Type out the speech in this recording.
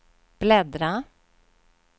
bläddra